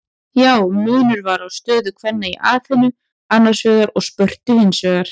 Já, munur var á stöðu kvenna í Aþenu annars vegar og Spörtu hins vegar.